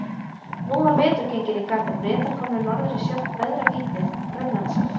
Nú var vetur genginn í garð og Bretar komnir norður í sjálft veðravítið, Grænlandshaf.